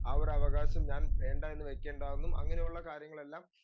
speaker 2 അവർ അവകാശം ഞാൻ വേണ്ടാന്ന് വെക്കണ്ടാന്നും അങ്ങനെയുള്ള കാര്യങ്ങളെല്ലാം